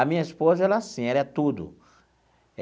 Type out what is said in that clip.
A minha esposa, ela é assim, ela é tudo.